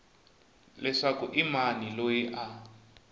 leswaku i mani loyi a